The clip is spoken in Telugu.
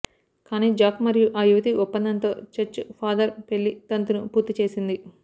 కాని జాక్ మరియు ఆ యువతి ఒప్పందంతో చర్చ్ ఫాదర్ పెళ్లి తంతును పూర్తి చేసింది